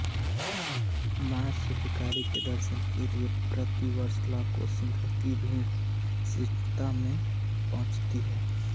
माँ शाकम्भरी के दर्शन के लिए प्रतिवर्ष लाखों श्रद्धालुओं की भीड़ सिद्धपीठ मे पहुँचती थी